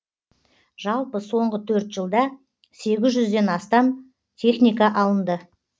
жалпы соңғы төрт жылда сегіз жүзден астам техника алынды